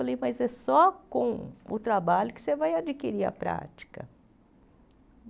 Falei, mas é só com o trabalho que você vai adquirir a prática.